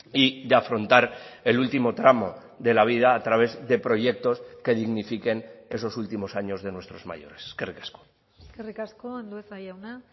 y de afrontar el último tramo de la vida a través de proyectos que dignifiquen esos últimos años de nuestros mayores eskerrik asko eskerrik asko andueza jauna